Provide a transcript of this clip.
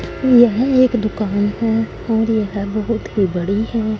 यही एक दुकान है और ये है बहोत ही बड़ी है।